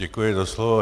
Děkuji za slovo.